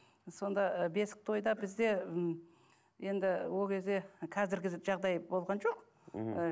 сонда ы бесік тойда бізде м енді ол кезде қазіргі жағдай болған жоқ мхм ы